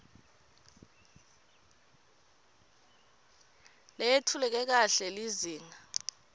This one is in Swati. leyetfuleke kahle lizinga